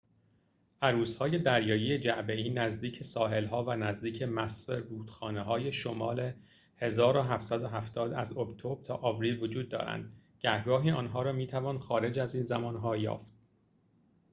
عروس‌های دریایی جعبه‌ای نزدیک ساحل‌ها و نزدیک مصب رودخانه‌های شمال ۱۷۷۰ از اکتبر تا آوریل وجود دارند گهگاهی آنها را می‌توان خارج از این زمان‌ها یافت